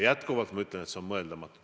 Jätkuvalt ütlen, et see on mõeldamatu.